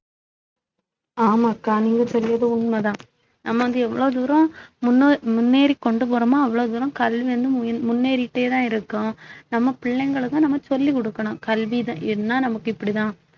ஆமாக்கா நீங்க சொல்றது உண்மைதான் நம்ம வந்து எவ்ளோ தூரம் முன்னோ~ முன்னேறி கொண்டு போறோமோ அவ்வளவு தூரம் கல்வி வந்து முன்~ முன்னேறிட்டேதான் இருக்கும் நம்ம பிள்ளைங்களுக்கும் நம்ம சொல்லிக் கொடுக்கணும் கல்விதான் ஏன்னா நமக்கு இப்படித்தான்